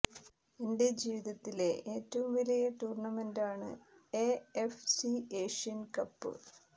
എന്റെ ജീവിതത്തിലെ ഏറ്റവും വലിയ ടൂര്ണമെന്റാണ് A F C Asian cup